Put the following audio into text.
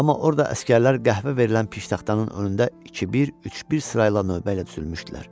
Amma orada əsgərlər qəhvə verilən piştaxlanın önündə 2-1, 3-1 sırayla növbəylə düzülmüşdülər.